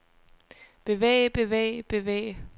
bevæge bevæge bevæge